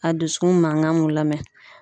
A dusukun mankan mun lamɛn.